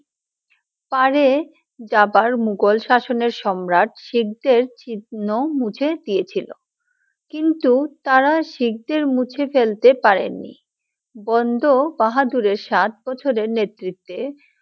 পারে যাবার মুঘল শাসনে সম্রাট শিখদের চিহ্ন মুঝে দিয়ে ছিলো, কিন্তু তারা শিখদের মুছে ফেলতে পারেননি, বন্ড বাহাদুরের সাত বছরের নেতৃত্বে!